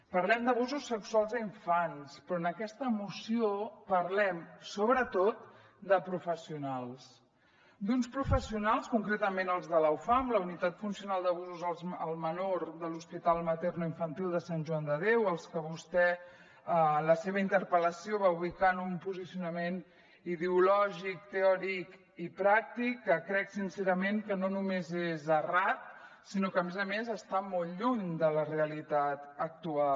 parlem d’abusos sexuals a infants però en aquesta moció parlem sobretot de professionals d’uns professionals concretament els de la ufam la unitat funcional d’abusos al menor de l’hospital maternoinfantil de sant joan de déu als que vostè en la seva interpel·lació va ubicar en un posicionament ideològic teòric i pràctic que crec sincerament que no només és errat sinó que a més a més està molt lluny de la realitat actual